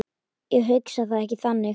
Ég hugsa það ekki þannig.